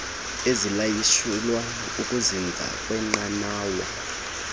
ezilayishelwa ukuzinza kwenqanawa